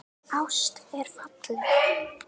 Ást er falleg.